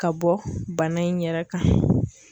Ka bɔ bana in yɛrɛ kan.